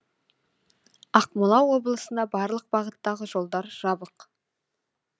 ақмола облысында барлық бағыттағы жолдар жабық